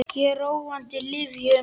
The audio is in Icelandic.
Ég er á róandi lyfjum.